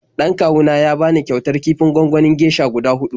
Dan kawu na ya bani kyautar kifin gwanganin geisha guda huɗu.